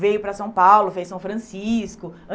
Veio para São Paulo, fez São Francisco.